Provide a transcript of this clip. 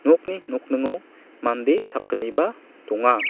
nokni nokningo mande sakgniba donga.